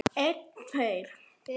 Þannig hugsaði ég um þig.